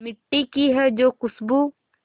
मिट्टी की है जो खुशबू